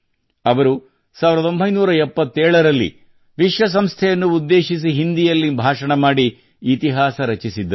ಅವರು 1977 ರಲ್ಲಿ ವಿಶ್ವ ಸಂಸ್ಥೆಯನ್ನು ಉದ್ದೇಶಿಸಿ ಹಿಂದಿಯಲ್ಲಿ ಭಾಷಣ ಮಾಡಿ ಇತಿಹಾಸ ರಚಿಸಿದ್ದರು